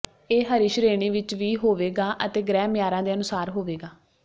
ਇਹ ਹਰੀ ਸ਼੍ਰੇਣੀ ਵਿੱਚ ਵੀ ਹੋਵੇਗਾ ਅਤੇ ਗ੍ਰਹਿ ਮਿਆਰਾਂ ਦੇ ਅਨੁਸਾਰ ਹੋਵੇਗਾ